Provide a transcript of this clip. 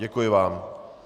Děkuji vám.